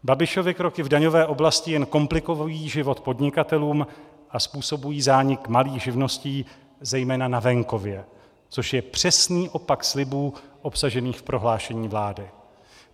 Babišovy kroky v daňové oblasti jen komplikují život podnikatelům a způsobují zánik malých živností zejména na venkově, což je přesný opak slibů obsažených v prohlášení vlády.